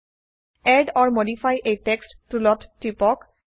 add or modify a text টুলত টিপক